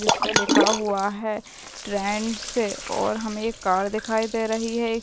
जिसपे लिखा हुआ है ट्रेंड्स और हमें एक कार दिखाई दे रही है इस --